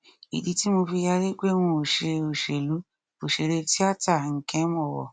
ìdí tí mo fi yarí pé n ó ṣe òṣèlú ọsẹrẹ tiata nkem owóh